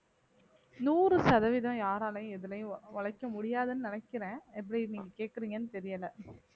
நூறு சதவீதம் யாராலையும் எதுலயும் உழைக்க முடியாதுன்னு நினைக்கிறேன் எப்படி நீங்க கேக்குறீங்கன்னு தெரியல